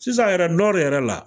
Sisan yɛrɛ Nɔri yɛrɛ la